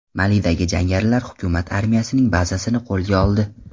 Malida jangarilar hukumat armiyasining bazasini qo‘lga oldi.